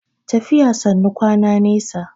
tafiya sannu kwana nesa